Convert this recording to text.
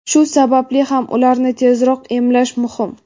Shu sababli ham ularni tezroq emlash muhim.